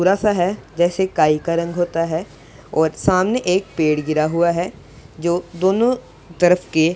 बड़ासा है जैसे काई का रंग होता है और सामने एक पेड़ गिरा हुआ है जो दोनों तरफ के--